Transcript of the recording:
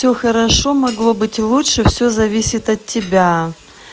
всё хорошо могло быть и лучше всё зависит от тебя